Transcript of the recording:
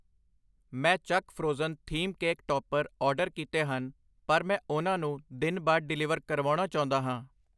ਮੈਂ ਚੱਕ frozen theme cake topper order ਕੀਤੇ ਹਨ ਪਰ ਮੈਂ ਉਹਨਾਂ ਨੂੰ ਦਿਨ ਬਾਅਦ ਡਿਲੀਵਰ ਕਰਵਾਉਣਾ ਚਾਹੁੰਦਾ ਹਾਂ I